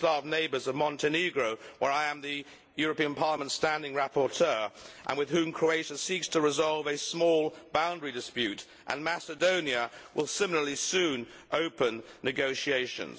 neighbours of Montenegro on which I am the European Parliament's standing rapporteur and with whom Croatia seeks to resolve a small boundary dispute and Macedonia, will similarly soon open negotiations.